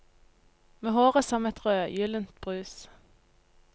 Med håret som et rødgyldent brus.